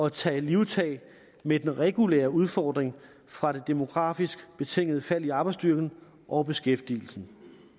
at tage livtag med den regulære udfordring fra det demografisk betingede fald i arbejdsstyrken og beskæftigelsen